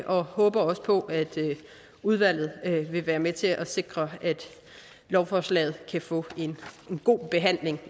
og håber også på at udvalget vil være med til at sikre at lovforslaget kan få en god behandling